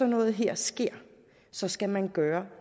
noget her sker så skal man gøre